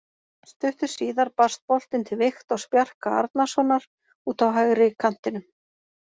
Stuttu síðar barst boltinn til Viktors Bjarka Arnarsonar út á hægri kantinum.